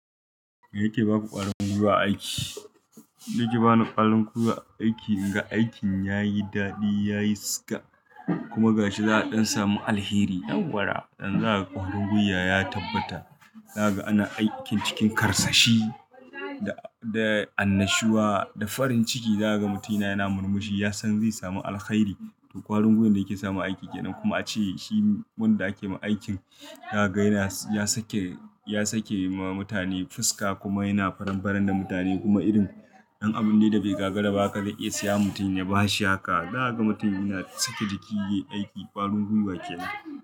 Mai yake baku ƙwarin gwiwa aiki? Yake ba ni ƙwarin gwiwa aiki, in ga aikin yayi daɗi, yayi siga kuma ga shi za a ɗan samu alheri. Yaw wara yanzu za ka. Ƙwarin gwiya ya tabbata. Zakaga ana aikin cikin karsashi da, da annashuwa, da farin ciki. Zakaga mutum yanayi yana murmushi yasan zai samu alkhairi to ƙwarin gwiwan da yake samu aiki kenan kuma ace shi wanda ake ma aikin. Ya ga yana, ya sake, ya sake ma mutane fuska kuma yana faran-faran da mutane. Kuma irin ɗan abun dai da bai gagaraba haka zai iya siya wa mutum ya bashi haka. Zakaga mutum yana sake jiki yayi aiki ƙwarin gwiwa kenan.